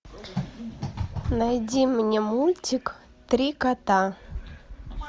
найди мне мультик три кота